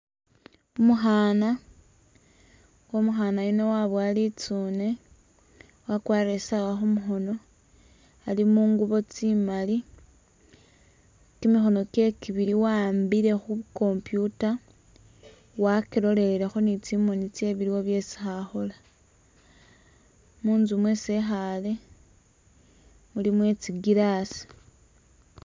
Umukhana nga umukha yuuno wabowa litsune wakwarile i'sawa khumukhono ali mungubo tsimali kimikhono kyewe kibili waambile khu'computer wakilolelekho ni tsimoni tsewe biliwo byesi khakhola munzu mwesi e'khale muli mwetsi glass